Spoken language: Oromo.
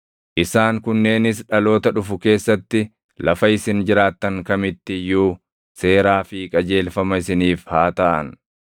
“ ‘Isaan kunneenis dhaloota dhufu keessatti lafa isin jiraattan kamitti iyyuu seeraa fi qajeelfama isiniif haa taʼan.